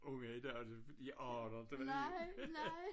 Unge i dag de aner det vel ikke